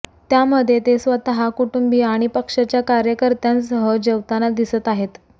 त्यामध्ये ते स्वतः कुटुंबीय आणि पक्षाच्या कार्यकर्त्यांसह जेवताना दिसत आहेत